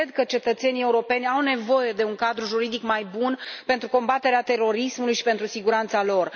Cred că cetățenii europeni au nevoie de un cadru juridic mai bun pentru combaterea terorismului și pentru siguranța lor.